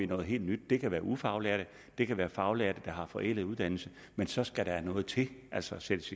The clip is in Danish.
noget helt nyt det kan være ufaglærte det kan være faglærte der har forældet uddannelse men så skal der jo noget til altså sættes